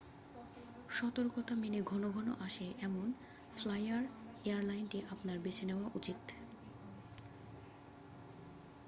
সতর্কতা মেনে ঘনঘন আসে এমন ফ্লাইয়ার এয়ারলাইনটি আপনার বেছে নেওয়া উচিত